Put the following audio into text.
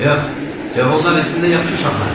Yox, yox, onlar əslində yaxşı uşaqlardır.